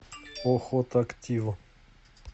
охотактив